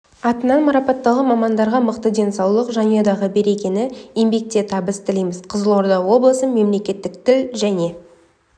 атынан марапатталған мамандарға мықты денсаулық жанұядағы берекені еңбекте табыс тілейміз қызылорда облысы мемлекеттік тіл және